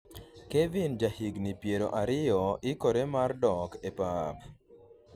kevin ja higni piero ariyo ikore mar dok e pap